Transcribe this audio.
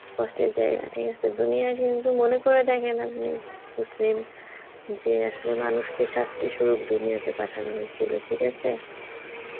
কষ্টের জায়গা ঠিক আছে, দুনিয়া কিন্তু মনে কইরা দেহেন আপনি, মুসলিম যে Hindi মানুষকে শাস্তি স্বরূপ দুনিয়াতে পাঠানো হয়েছিল, ঠিক আসে